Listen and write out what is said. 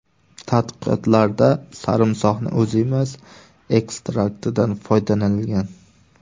Tadqiqotlarda sarimsoqning o‘zi emas, ekstraktidan foydalanilgan.